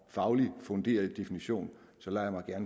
faglig funderet definition